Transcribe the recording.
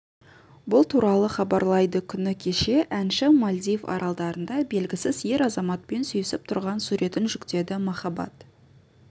бұл туралы хабарлайды күні кеше әнші мальдив аралдарында белгісіз ер азаматпен сүйісіп тұрған суретін жүктеді махаббат